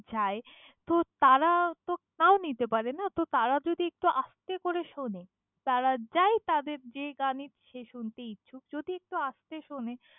যায় তো তারা তো কাউ নিতে পারে না, তো তারা যদি একটু আস্তে করে শোনে তারা যাই তাদের যে গানই সে শুনতে ইচ্ছুক, যদি একটু আস্তে শোনে।